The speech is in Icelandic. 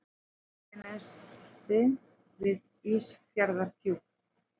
Reykjanesi við Ísafjarðardjúp.